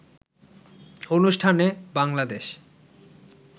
অনুষ্ঠানে বাংলাদেশ